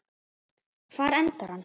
Hvar endar hann?